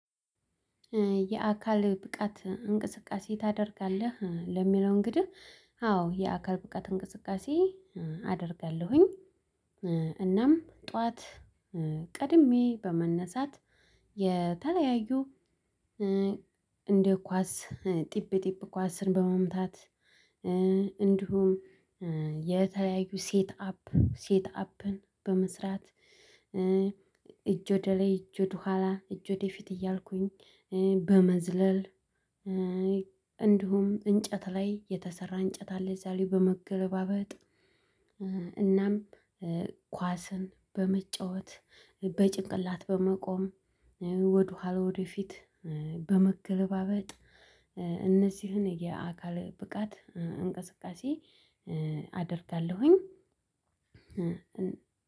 የአካል ብቃት እንቅስቃሴ ታደርጋለህ? ለሚለው እንግድህ አዎ የአካል ብቃት እንቅስቃሴ አደርጋለሁኝ። እናም ጠዋት ቀድሜ በመነሳት የተለያዩ እንደ ኳስ ጢብ ጠብ ኳስን በመምታት እንዲሁም የተለያዩ ሴት አፕ ሴት አፕን በመስራት። እጅ ወደ ላይ እጅ ወደ ኋላ እጅ ወደ ፊት እያልኩኝ በመዝለል። እንዲሁም እንጨት ላይ የተሰራ እንጨት አለ እዛ ላይ በመገለባበጥ። እናም ኳስን በመጫወት በጭንቅላት በመቆም ወደኋላ ወደፊት በመገለባበጥ እነዚህን የአካል ብቃት እንቅስቃሴ አደርጋለሁኝ።